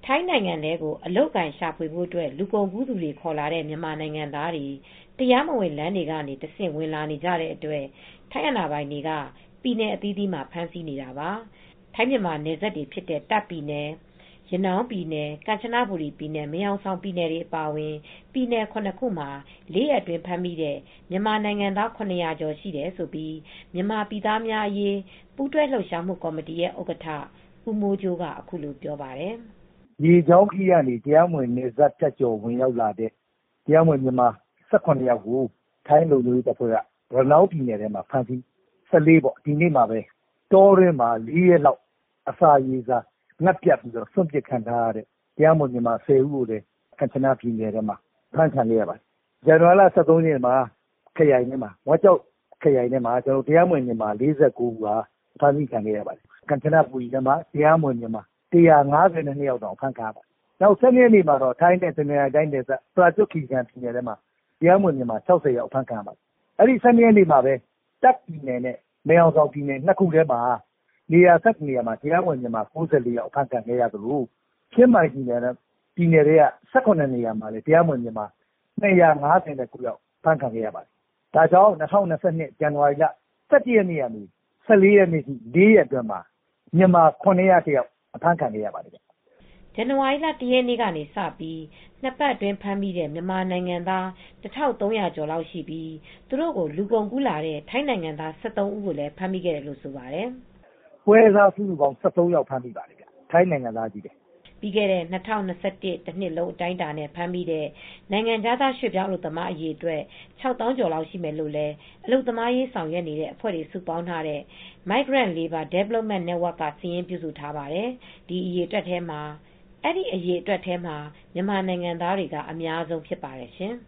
ထိုင်းနိုင်ငံထဲကို အလုပ်အကိုင်ရှာဖွေဖို့အတွက် လူကုန်ကူးသူတွေ ခေါ်လာတဲ့မြန်မာနိုင်ငံသားတွေ တရားမဝင်လမ်းတွေကနေတဆင့်ဝင်လာကြတဲ့အတွက် ထိုင်းအာဏာပိုင်တွေက ပြည်နယ်အသီးသီးမှာဖမ်းဆီးနေတာပါ ။ ထိုင်းမြန်မာနယ်စပ်တွေဖြစ်ကြတဲ့ တာ့ခ်ပြည်နယ် ရနောင်းပြည်နယ် ကမ်ချနဘူရီပြည်နယ် မယ်ဟောင်ဆောင်ပြည်နယ်အပါအဝင် ပြည်နယ် ၇ခုမှာ ၄ရက်အတွင်းဖမ်းမိတဲ့ မြန်မာနိုင်ငံသား ၇၀၀ကျော်ရှိတယ်လို့ မြန်မာပြည်သားများအရေး ပူးတွဲလှုပ်ရှားမူ့ကော်မတီရဲ့ဥက္ကဌ ဦးမိုးကြိုးကအခုလိုပြောပါတယ်။ " ရေကြောင်းခရီးကနေ တရားမဝင် နယ်စပ်ဖြတ်ကျော်ဝင်ရောက်လာတဲ့ မြန်မာနိုင်ငံသား ၁၇ယောက်ကို ထိုင်းလုံခြုံရေးတပ်ဖွဲ့တွေက ရနောင်းပြည်နယ်ဘက်မှာ ဖမ်းဆီးခံရပါတယ်။ ၁၄ရက်နေ့ ဒီနေ့မှာပဲ တောထဲမှာပဲ ၄ရက်လောက် အစာရေစာပြတ်လတ် စွန့်ပစ်ခံရတဲ့မြန်မာ၁၀ယောက် ကမ်ချနဘူရီပြည်နယ်ထဲမှ ာဖမ်းခံရပါတယ် ။ဇန်ဝနဝါရီလ ၁၃ရက်နေ့ မှာတော့ မဲဆောက်ခရိုင်ထဲမှာ တရားမဝင် ၄၉ဦးဖမ်းမိတယ်။ ကမ်ချနဘူရီပြည်ထဲမှာတော့ ၁၅၂ ဖမ်းခံရပါတယ် ။ ၁၂ရက်နေ့မှာတော့ ထိုင်းနဲ့တနင်္သာရီတိုင်းနယ်စပ် ပရာကျွတ်ခီရီကန်ပြည်နယ်ထဲမှာတော့ တရားမဝင်မြန်မာ၆၀ဖမ်းမိပါတယ်။ အဲဒီ ၁၂ရက်နေ့မှာပဲ တာ့ခ်ပြည်နယ်နဲ့ မယ်ဟောင်ဆောင်ပြည်နယ် နေရာ၁၁ခုမှာ တရားမဝင်မြန်မာ၉၄ယောက် ဖမ်းခံရသလို ချင်းမိုင်ပြည်နယ်က နေရာ၁၇ခုမှာ မြန်မာ၂၅၉ယောက်ဖမ်းခံရပါတယ်။ ၂၀၂၂ခုနှစ် ဇန်နဝါရီလ ၁၁ရက်နေ့က နေ ၁၄ရက်အတွင်းမြန်မာ ၇၀၁ယောက်အဖမ်းခံရပါတယ်" ဇန်နဝါရီလ ၁ရက်နေ့ကစပြီး၂ပတ်အတွင်းဖမ်းမိတဲ့မြန်မာနိုင်ငံသား ၁၃၀၀ကျော်လောက်ရှိပြီး သူတို့ကို လူကုန်ကူးလာတဲ့ ထိုင်းနိုင်ငံသား ၁၃ဦးကိုလည်း ဖမ်းမိခဲ့တယ်လို့ဆိုပါတယ် ။ " ပွဲစား၁၃ယောက်ဖမ်းမိပါတယ် ထိုင်းနိုင်ငံသားတွေပါ" ပြီးခဲ့တဲ့ ၂၀၂၁ တနှစ်လုံး အတိုင်းအတာနဲ့ ဖမ်းမိတဲ့ နိုင်ငံခြားရွှေပြောင်း အလုပ်သမားအရေအတွက် ၆ သောင်းကျော်လောက်ရှိမယ်လို့လည်း အလုပ်သမားအရေးဆောင်ရွက်နေတဲ့အဖွဲ့တွေစုပေါင်းထားတဲ့ Migrant Labour Development Network က စာရင်း ပြုစုထားပါတယ်။ အဲဒီအရေအတွက်မှာ မြန်မာနိုင်ငံသားတွေက အများဆုံးဖြစ်ပါတယ်ရှင်